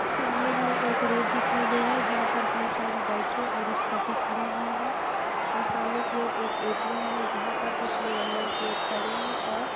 सामने हमें एक रोड दिखाई दे रहा है। जहाँ पर कई सारी बाइके और स्कूटी खड़ी हुई है और सामने की ओर एक ए.टी.एम. है। जहां पर कुछ लोग अंदर की और खड़े हैं और --